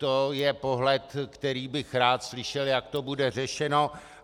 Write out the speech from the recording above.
To je pohled, který bych rád slyšel, jak to bude řešeno.